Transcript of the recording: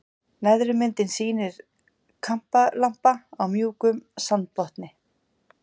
Neðri myndin sýnir kampalampa á mjúkum sandbotni.